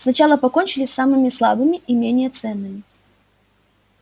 сначала покончили с самыми слабыми и менее ценными